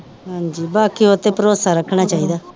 ਹਾਂਜੀ ਬਾਕੀ ਉਹਤੇ ਪਰੋਸਾ ਰੱਖਣਾ ਚਾਹੀਦਾ